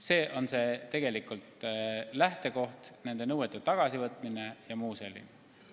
See on tegelikult lähtekoht: nõuete tagasivõtmine ja muu selline.